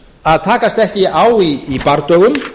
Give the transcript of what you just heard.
að takast ekki á í bardögum